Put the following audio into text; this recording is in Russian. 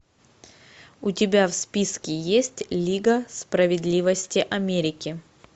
у тебя в списке есть лига справедливости америки